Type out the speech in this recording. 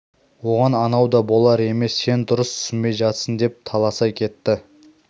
оған анау да болар емес сен дұрыс түсінбей жатсың деп таласа кетті